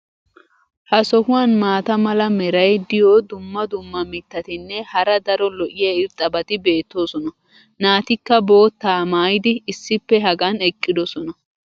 Ha sohuwan maata mala meray diyo dumma dumma mitatinne hara daro lo'iya irxxabati beetoosona. naatikka boottaa maayidi issippe hagan eqqidosona.